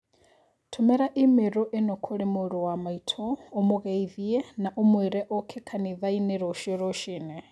Tũmĩra i-mīrū ĩno kũrĩ mũrũ wa maitũ ũmũgĩithie naũmũĩire oke kanitha inĩ rũcio rũcinĩ.